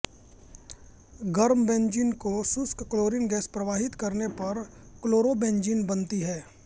गर्म बेन्जीन को शुष्क क्लोरीन गैस प्रवाहित करने पर क्लोरोबेन्जीन बनती है